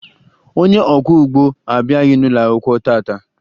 Onye ọkwọụgbọ abịaghị n'ụlọakwụkwọ taa taa